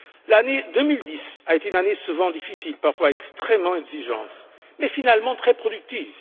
L'année 2010 a été une année souvent difficile, parfois extrêmement exigeante, mais finalement très productive.